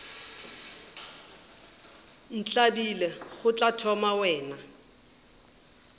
ntlabile go tla thoma wena